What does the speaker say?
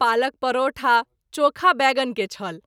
पालक परोठा चोखा बैगन के छल।